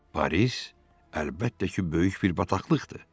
Paris, əlbəttə ki, böyük bir bataqlıqdır.